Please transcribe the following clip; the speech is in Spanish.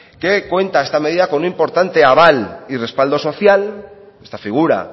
que cuenta esta medida con un importante aval y respaldo social esta figura